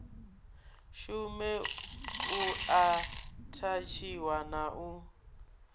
shume u athatshiwa na u